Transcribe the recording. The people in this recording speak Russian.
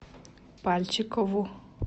пальчикову